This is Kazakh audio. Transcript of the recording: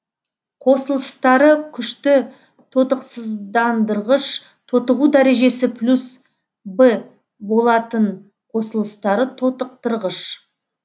қосылыстары күшті тотықсыздандырғыш тотығу дәрежесі плюс в болатын қосылыстары тотықтырғыш